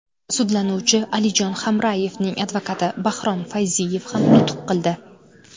Sudlanuvchi Alijon Hamrayevning advokati Baxrom Fayziyev ham nutq qildi.